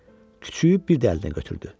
Küçüyü bir də əlinə götürdü.